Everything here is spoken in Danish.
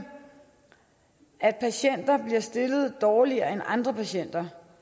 at disse patienter bliver stillet dårligere end andre patienter